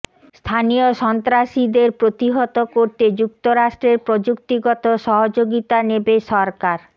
স্থানীয় সন্ত্রাসীদের প্রতিহত করতে যুক্তরাষ্ট্রের প্রযুক্তিগত সহযোগিতা নেবে সরকার